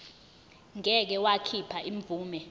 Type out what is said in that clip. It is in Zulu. ngeke wakhipha imvume